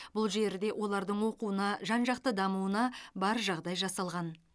бұл жерде олардың оқуына жан жақты дамуына бар жағдай жасалған